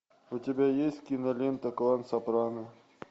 у тебя есть кинолента клан сопрано